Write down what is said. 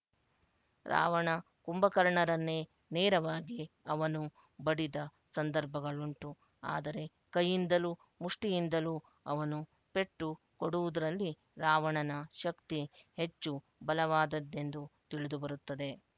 ರಾವಣ ಕುಂಭಕರ್ಣರನ್ನೇ ನೇರವಾಗಿ ಅವನು ಬಡಿದ ಸಂದರ್ಭಗಳುಂಟು ಆದರೆ ಕೈಯಿಂದಲೂ ಮುಷ್ಟಿಯಿಂದಲೂ ಅವನು ಪೆಟ್ಟು ಕೊಡುವುದರಲ್ಲಿ ರಾವಣನ ಶಕ್ತಿ ಹೆಚ್ಚು ಬಲವಾದದ್ದೆಂದು ತಿಳಿದುಬರುತ್ತದೆ